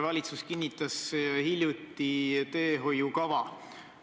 Valitsus kinnitas hiljuti teehoiukava.